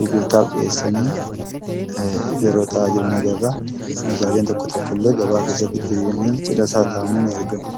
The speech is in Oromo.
gurgurtaaf dhiyeessanii yeroo ta'aa jiran agarra. Meeshaaleen tokko tokko illee gabaa keessatti diriiranii cina isaa taa'anii ni argamu.